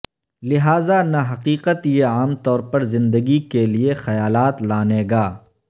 لہذا نہ حقیقت یہ عام طور پر زندگی کے لئے خیالات لانے گا